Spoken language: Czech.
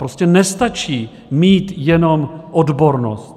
Prostě nestačí mít jenom odbornost.